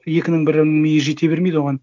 екінің бірі миы жете бермейді оған